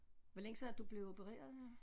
Hvor længe siden er det du blev opereret her